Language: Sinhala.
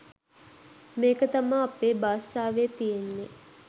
මේක තමා අපේ බාසාවේ තියෙන්නේ